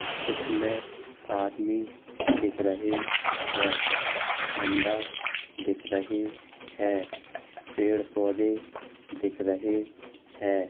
इसमे आदमी दिख रहे हैं। झंडे दिख रहे है। पेड़-पौधे दिख रहे हैं।